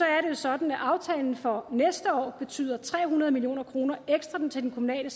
er jo sådan at aftalen for næste år betyder tre hundrede million kroner ekstra til den kommunale